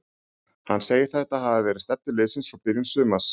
Hann segir þetta hafa verið stefnu liðsins frá byrjun sumars.